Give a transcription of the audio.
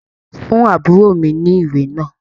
Fún àbúrò mi ní ìwé náà.